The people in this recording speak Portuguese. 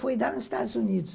Foi dar nos Estados Unidos.